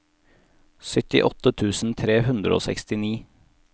syttiåtte tusen tre hundre og sekstini